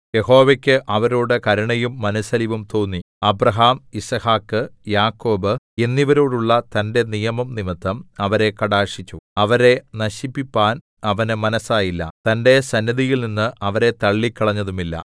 യഹോവയ്ക്ക് അവരോട് കരുണയും മനസ്സലിവും തോന്നി അബ്രാഹാം യിസ്ഹാക്ക് യാക്കോബ് എന്നിവരോടുള്ള തന്റെ നിയമം നിമിത്തം അവരെ കടാക്ഷിച്ചു അവരെ നശിപ്പിപ്പാൻ അവന് മനസ്സായില്ല തന്റെ സന്നിധിയിൽനിന്ന് അവരെ തള്ളിക്കളഞ്ഞതുമില്ല